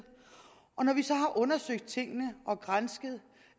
og når vi så har undersøgt tingene og gransket